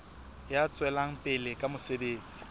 ya tswelang pele ka mosebetsi